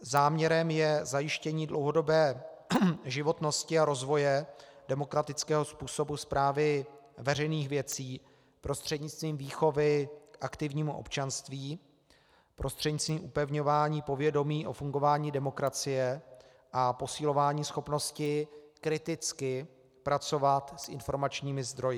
Záměrem je zajištění dlouhodobé životnosti a rozvoje demokratického způsobu správy veřejných věcí prostřednictvím výchovy k aktivnímu občanství, prostřednictvím upevňování povědomí o fungování demokracie a posilování schopnosti kriticky pracovat s informačními zdroji.